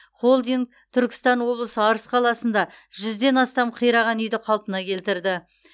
холдинг түркістан облысы арыс қаласында жүзден астам қираған үйді қалпына келтірді